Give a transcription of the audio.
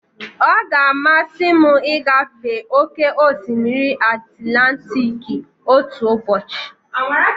Ọ ga-amasị m ịgafe oke osimiri Atilantiki otu ụbọchị.